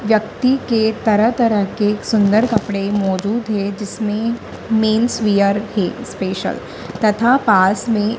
व्यक्ति के तरह तरह के सुंदर कपड़े मौजूद है जिसमें मेंस वियर है स्पेशल तथा पास में--